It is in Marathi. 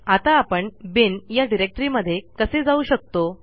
आता आपण बिन या डिरेक्टरीमध्ये कसे जाऊ शकतो